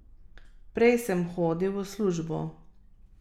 Prej sem hodil v službo ...